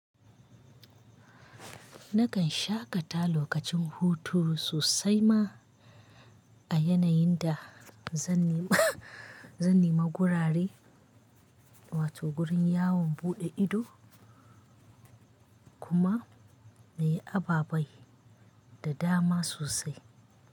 Nakan shaƙata lokacin hutu sosai ma a yanayin da zan nema gurare, wato gurin yawon buɗe ido kuma mai ababai da dama sosai.